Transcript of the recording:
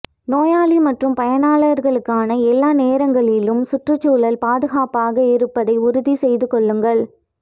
நோயாளி மற்றும் பணியாளர்களுக்கான எல்லா நேரங்களிலும் சுற்றுச்சூழல் பாதுகாப்பாக இருப்பதை உறுதி செய்து கொள்ளுங்கள்